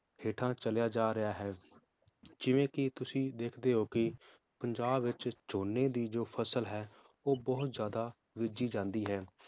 ਹੇਠਾਂ ਚਲਿਆ ਜਾ ਰਿਹਾ ਹੈ ਜਿਵੇ ਕੀ ਤੁਸੀਂ ਦੇਖਦੇ ਹੋ ਕਿ ਪੰਜਾਬ ਵਿਚ ਝੋਨੇ ਦੀ ਜੋ ਫਸਲ ਹੈ ਉਹ ਬਹੁਤ ਜ਼ਿਆਦਾ ਬੀਜੀ ਜਾਂਦੀ ਹੈ